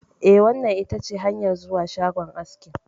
Eh, wannan itace hanyar zuwa shagon aski.